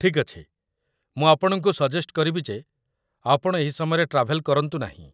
ଠିକ୍ ଅଛି । ମୁଁ ଆପଣଙ୍କୁ ସଜେଷ୍ଟ୍ କରିବି ଯେ ଆପଣ ଏହି ସମୟରେ ଟ୍ରାଭେଲ୍ କରନ୍ତୁ ନାହିଁ ।